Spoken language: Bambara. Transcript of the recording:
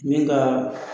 Min ka